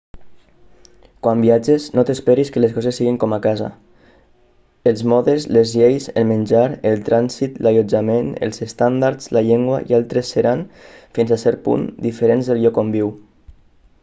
quan viatges no t'esperis que les coses siguin com a casa els modes les lleis el menjar el trànsit l'allotjament els estàndards la llengua i altres seran fins a cert punt diferents del lloc on viu